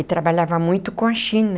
E trabalhava muito com a China.